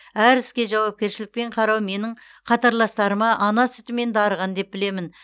әр іске жауапкершілікпен қарау менің қатарластарыма ана сүтімен дарыған деп білемін